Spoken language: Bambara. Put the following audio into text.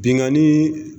Binnkanni